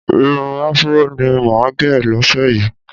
Irun Afúró ni màá gẹ̀ lọ́sẹ̀ yìí